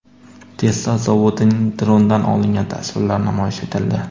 Tesla zavodining drondan olingan tasvirlari namoyish etildi.